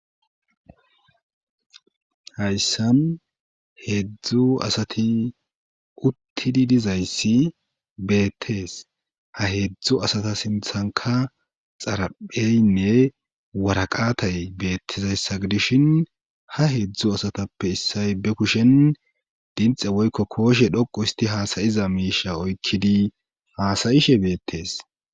Hayssan heedzdzu asati uttidi dizayssi beettees ha heedzdzu asata sinthanka xarapheynne waraqatay beettizayssa gidishin ha heedzdzu asatappe issay be kushen dinxe woykko kooshe dhoqu isti haasayiza miisha oykkidi haasayishe beettees.